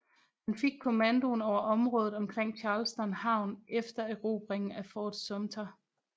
Han fik kommandoen over området omkring Charleston havn efter erobringen af Fort Sumter